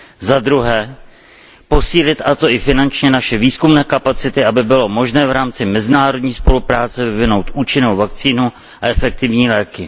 zadruhé, posílit, a to i finančně, naše výzkumné kapacity, aby bylo možné v rámci mezinárodní spolupráce vyvinout účinnou vakcínu a efektivní léky.